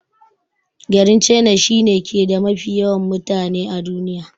Garin china shi ne ke da mafi yawan mutane a duniya.